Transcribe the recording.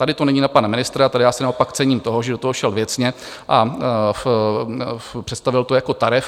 Tady to není na pana ministra, tady já si naopak cením toho, že do toho šel věcně a představil to jako tarif.